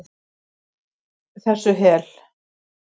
Og hætt þessu hel